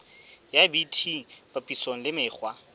ya bt papisong le mekgwa